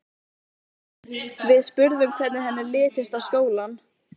Við spurðum hvernig henni litist á skólann.